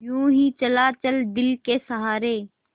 यूँ ही चला चल दिल के सहारे